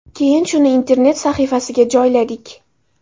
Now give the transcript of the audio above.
Keyin shuni internet sahifasiga joyladik.